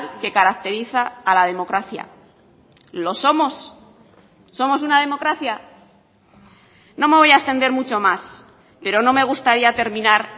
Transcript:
que caracteriza a la democracia lo somos somos una democracia no me voy a extender mucho más pero no me gustaría terminar